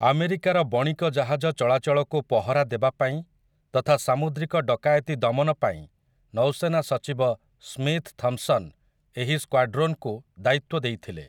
ଆମେରିକାର ବଣିକ ଜାହାଜ ଚଳାଚଳକୁ ପହରା ଦେବାପାଇଁ ତଥା ସାମୁଦ୍ରିକ ଡକାୟତି ଦମନପାଇଁ ନୌସେନା ସଚିବ ସ୍ମିଥ୍ ଥମ୍ପ୍‌ସନ୍ ଏହି ସ୍କ୍ୱାଡ୍ରୋନ୍‌କୁ ଦାୟିତ୍ୱ ଦେଇଥିଲେ ।